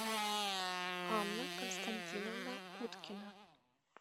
анна константиновна уткина